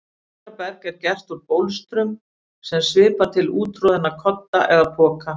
Bólstraberg er gert úr bólstrum sem svipar til úttroðinna kodda eða poka.